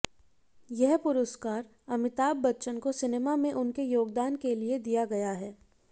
ये पुरस्कार अमिताभ बच्चन को सिनेमा में उनके योगदान के लिए दिया गया है